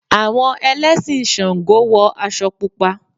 Àwọn Ẹlẹ́sìn ṣàǹgó wọ aṣọ Pupa.